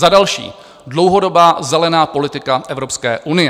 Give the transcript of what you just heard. Za další, dlouhodobá zelená politika Evropské unie.